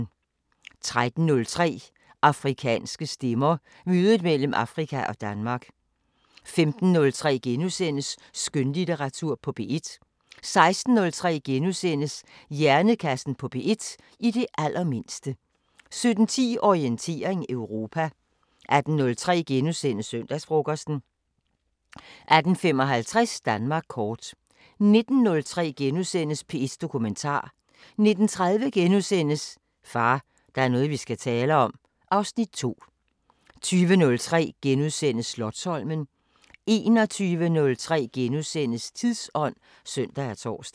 13:03: Afrikanske stemmer: Mødet mellem Afrika og Danmark 15:03: Skønlitteratur på P1 * 16:03: Hjernekassen på P1: I det allermindste * 17:10: Orientering Europa 18:03: Søndagsfrokosten * 18:55: Danmark kort 19:03: P1 Dokumentar * 19:30: Far, der er noget vi skal tale om (Afs. 2)* 20:03: Slotsholmen * 21:03: Tidsånd *(søn og tor)